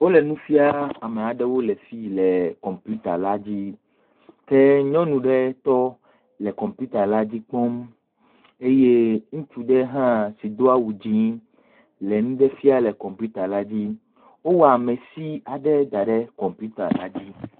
Wole nu fiam ame aɖewo le fi le kɔmpita la dzi ke nyɔnu ɖe tɔ le kɔmpita la dzi kpɔm eye ŋutsu ɖe hã si do awu dzɛ̃ le nu ɖe fiam le kɔmpita la dzi. Wowɔ amesi aɖe da ɖe kɔmpita la dzi.